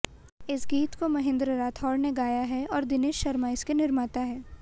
इस गीत को महेन्द्र राठौर ने गाया है और दिनेश शर्मा इसके निर्माता है